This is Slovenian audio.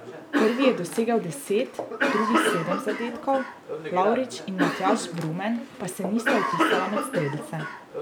Prvi je dosegel deset, drugi sedem zadetkov, Lavrič in Matjaž Brumen pa se nista vpisala med strelce.